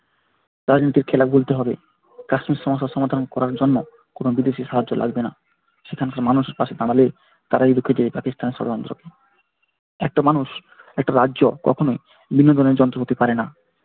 রাজনীতির খেলা বুঝতে হবে কাশ্মীর সমস্যা সমাধান করার জন্য কোন বিদেশী সাহায্য লাগবে না সেখানকার মানুষ পাশে দাঁড়ালে তারাই রুখে দিবে পাকিস্তানে ষড়যন্ত্রকে একটা মানুষ একটা রাজ্য কখনোই বিনোদনের যন্ত্র হতে পারে না।